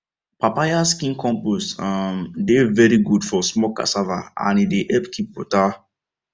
papaya skin compost um dey very good for small cassava and e dey help keep water